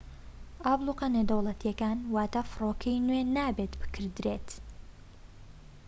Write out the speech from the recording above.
ئابڵوقە نێودەوڵەتیەکان واتا فڕۆکەی نوێ نابێت بکردرێت